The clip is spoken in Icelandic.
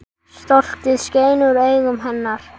Stoltið skein úr augum hennar.